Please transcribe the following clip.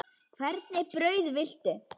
Hvernig brauð viltu?